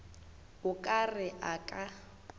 o ka re a ka